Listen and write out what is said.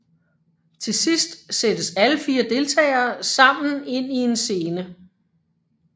Til sidst sættes alle 4 deltagere sammen ind i en scene